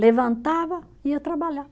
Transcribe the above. Levantava, ia trabalhar.